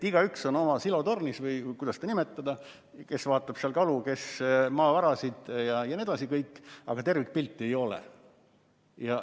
Igaüks on oma silotornis või kuidas seda nimetada, kes vaatab seal kalu, kes maavarasid jne, aga tervikpilti ei ole.